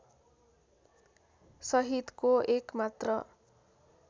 सहितको एक मात्र